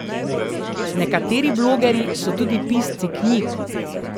Nekateri blogerji so tudi pisci knjig.